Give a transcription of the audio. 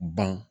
Ban